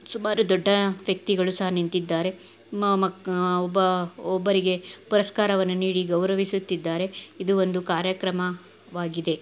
ಸುಮಾರು ದೊಡ್ಡ ವ್ಯಕ್ತಿಗಳು ಸಹ ನಿಂತಿದ್ದಾರೆ ಮ್‌ ಒಬ್ಬ ಒಬ್ಬರಿ ಪುರಸ್ಕಾರವನ್ನು ನೀಡಿ ಗೌರವಿಸುತ್ತಿದ್ದರೆ ಇದು ಒಂದು ಕಾರ್ಯಕ್ರಮವಾಗಿದೆ .